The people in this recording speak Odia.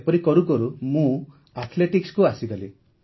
ଏପରି କରୁକରୁ ମୁଁ ଆଥ୍ଲେଟିକ୍ସକୁ ଆସିଗଲି